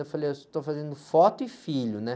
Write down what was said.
Eu falei, eu estou fazendo foto e filho, né?